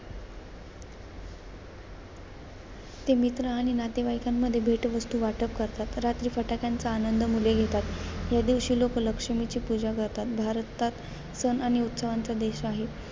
ते मित्र आणि नातेवाईकांमध्ये भेटवस्तू वाटप करतात. रात्री फटाक्यांचा आनंद मुले घेतात. या दिवशी लोकं, लक्ष्मीची पूजा करतात. भारतात सण आणि उत्सवांचा देश आहे.